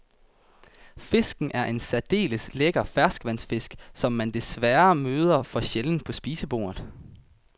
Fisken er en særdeles lækker ferskvandsfisk, som man desværre møder for sjældent på spisekortet.